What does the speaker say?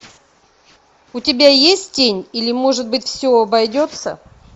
у тебя есть тень или может быть все обойдется